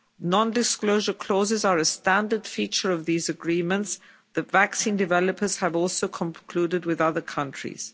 Non-disclosure clauses are a standard feature of these agreements that vaccine developers have also concluded with other countries.